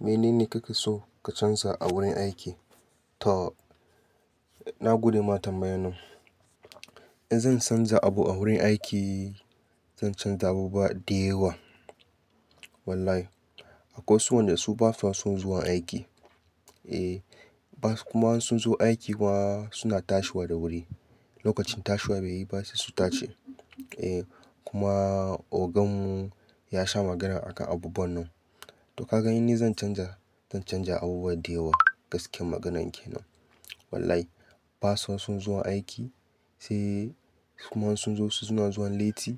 Menene kake so ka canza a wurin aiki? To, na gode ma tambayar nan. In zan canza abu a wurin aiki, zan canza abubuwa da yawa. Wallahi, akwai wasu waƴenda su ba sa son zuwa aiki. Eh, gasu kuma ko sun zo aiki ma suna tashi da wuri. Tin lokacin tashi bai yi ba sai su tashi. Eh, kuma ogan mu ya sha magana a kan abubuwan nan. To ka gani in zan canja, zan canja abubuwa da yawa gaskiyar maganar ke nan. Wallahi, ba su son zuwa aiki, sai kuma in sun zo su, su na zuwan latti.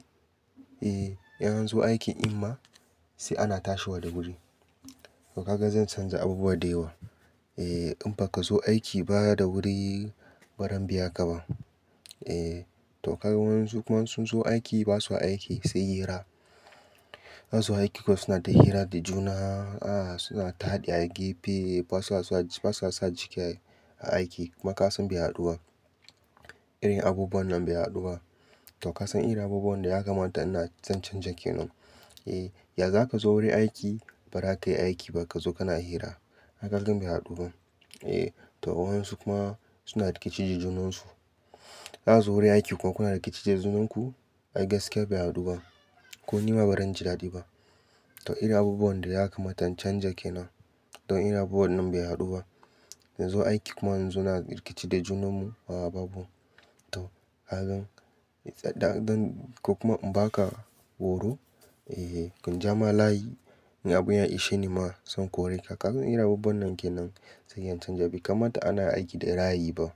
Eh, in an zo aikin ma, sai a tashi da wuri. To ka ga zan canza abubuwa da yawa. Eh, in ba ka zo aiki ba da wuri, Bazan biya ka ba. Eh, to ka gani wasu kuma ko sun zo aiki ba sa aiki sai hira. An zo aiki kuma su na ta hira da juna, suna ta taɗi a gefe, ba sa saka jiki a aiki. Kuma ka san bai kyautu ba. Irin abubuwan nan bai kyautu ba. To kasan irin abubuwan da ya kamata zan canza kenan. Ya za ka zo wurin aiki ba za ka yi aiki ba ka zo kana hira. Hakan ɗin bai kyautu ba. Eh, to waɗansu kuma suna rikici da junan su. Kun zo wurin aiki kuma kuna rikici da junanku? Ai gaskiya bai kyautu ba. Ko nima ba zan ji daɗi ba. To irin abubuwan da ya kamata in canza kenan. To irin abubuwan nan bai kyautu ba. Mu zo aiki kuma mu zo muna rikici da junanmu, a a babu. To ka gani, ko kuma in ba ka horo, ko in ja maka layi, in abun ya ishe ni ma zan kore ka. Kamar irin abubuwan nan ke nan zan canza, bai kamata ana aiki da ra'ayi ba,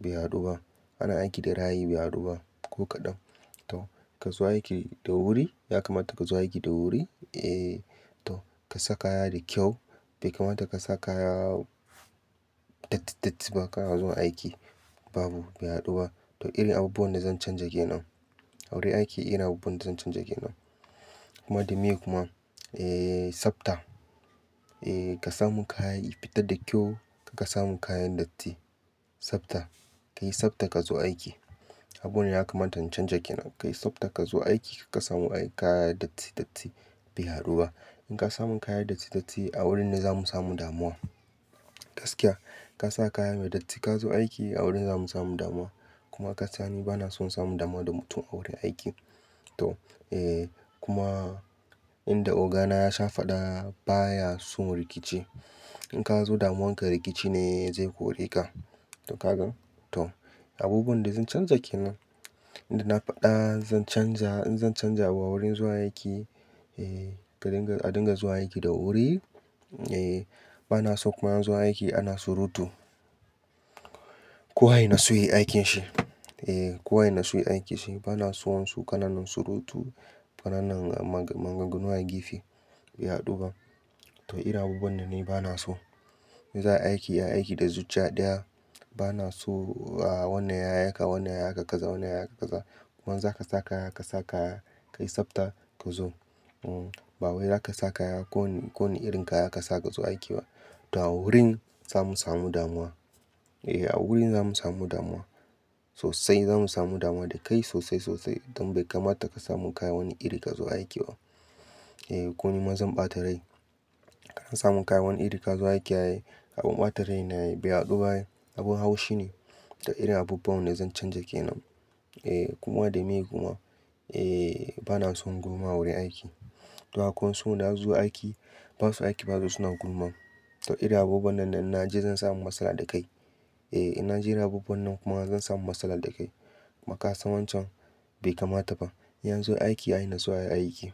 bai kyautu ba. Ana aiki da ra'ayi ba, bai kyautu ba, ko kaɗan. To ka zo aiki da wuri, ya kamata ka zo aiki da wuri, to ka sa kaya da kyau. Bai kamata ka sa kaya datti datti ba ka na zuwa aiki. Babu, bai haɗu ba. To irin abubuwan da zan canza ke nan. A wurin aiki irin abubuwan da zan canja ke nan. Kuma, da miye kuma, eh, tsafta. Eh, ka samu kaya da ya fita da kyau, kar ka samu kayan datti. Tsafta. Ka yi tsafta ka zo aiki. Abunda ya kamata in canza ke nan. Ka yi tsafta ka zo aiki, kar ka saka mana kayan datti bai kyautu ba. In ka samun kayan datti, to a wurin ne za mu samu damuwa. Gaskiya. Ka sa kaya mai datti ka zo aiki a wurin za mu samu damuwa. Kuma ka san ni ba na son samun damuwa da mutum a wurin aiki. To, eh, kuma inda ogana ya sha faɗa baya son rikici. In ka zo damuwarka rikici ne zai kore ka. To ka gan? To abubuwan da zan canza ke nan, inda na faɗa zan canza, in zan canza abu a wurin zuwa aiki, eh, ka dinga, a dinga zuwa aiki da wuri. Eh, ba na son kuma a zo aiki ana surutu. Kowa ya nutsu ya yi aikinsa. Eh, kowa ya natsu ya yi aikinsa. Ba na son wasu kanannan surutu, kanannan maganganu a gefe bai kyautu ba. To irin abubuwan nan ne ba na so. In za a yi aiki, a yi aiki da zuciya ɗaya. Ba na so, ah, wannan ya yi haka, wannan ya yi haka kaza, wannan ya yi haka kaza. Kuma in za ka sa kaya, ka sa kaya, ka yi tsafta ka zo. Uh, ba wai za ka sa kaya, ko wani irin kaya ka sa ka zo aiki ba. To a wurin za mu samu damuwa. Eh, a wurin za mu samu damuwa. Sosai za mu samu damuwa da kai sosai sosai. Don bai kamata ka samu kaya wani iri ka zo aiki ba. Eh, ko nima zan ɓata rai. Ka samu kaya wani iri ka zo aiki ai abun ɓata rai ne, bai kyautu ba. Abun haushi ne. Dan irin abubuwan ne zan canja ke nan. Eh, kuma da miye kuma, eh, ba na son gulma a wurin aiki. To akwai wasu su na zuwa aiki, ba sa aiki ba, ama su na gulma. To irin abubuwan nan ne idan na ji zan samu matsala da kai. Eh, idan na ji abubuwan nan kuma zan samu matsala da kai. Makasan wancan bai kamata ba. In an zo aiki, a nutsu a yi aiki.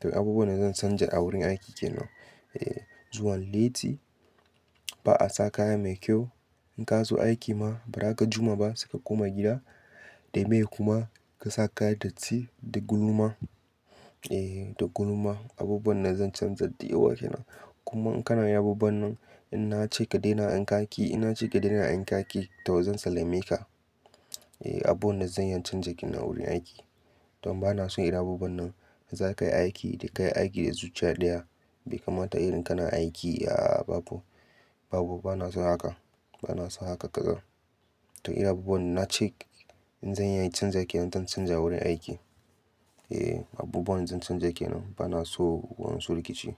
To abubuwan da zan canza a wurin aiki ke nan. Eh, zuwan latti, rashin saka kaya mai kyau. In ka zo aiki ma, ba za ka jimma ba sai ka koma gida. Da miye kuma, da ka saka kaya mai datti da gulma. Eh, da gulma. Abubuwan da zan canza da yawa kenan. Kuma in kana yin abubuwan nan, in na ce ka daina in ka ƙi, in na ce ka daina in ka ƙi, to zan sallame ka. Eh, abun da zan iya canzawa ke nan a wurin aiki. Don ba na son irin abubuwan nan. Za ka yi aiki, sai ka yi aiki da zuciya ɗaya. Bai kamata irin kalar aikin, a a babu, babu ba na son haka. Ba na so haka kalar. To irin abubuwan da na ce in zan iya canzawa ke nan zan canza a wurin aiki. Eh, abubuwan da zan canza ke nan, ba na son wasu rikici.